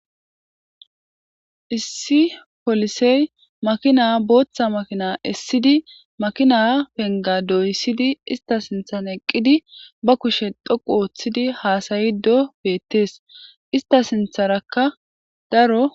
Issi polisey makina boththa makina esidi makina penga doyisid ista sinththan eqidi ba kushshe dhoqu histid hasyido betes